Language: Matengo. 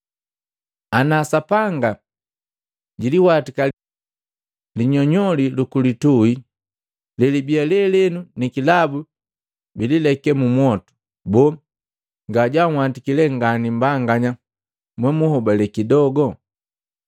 Ana Sapanga jiliwatika linyonyoli lukulitui lelibii lelenu nikilabu bilileke mu mwotu, boo, nga janhwatiki lee ngani mmbanganya mwenhobale kidogu?